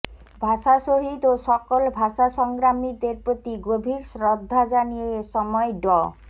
ভাষাশহীদ ও সকল ভাষাসংগ্রামীদের প্রতি গভীর শ্রদ্ধা জানিয়ে এসময় ড